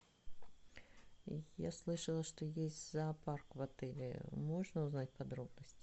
я слышала что есть зоопарк в отеле можно узнать подробности